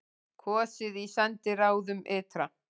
Kosið í sendiráðum ytra